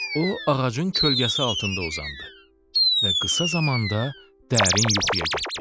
O ağacın kölgəsi altında uzandı və qısa zamanda dərin yuxuya getdi.